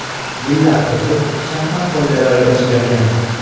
Yillar o‘tib shaxmat qoidalari o‘zgargan.